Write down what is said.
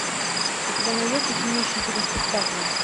у тебя найдется кинище типа спектакля